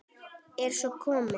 Er svo komið?